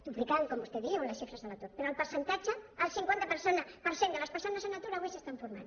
duplicant com vostè diu les xifres de l’atur però en percentatge el cinquanta per cent de les persones en atur avui s’estan formant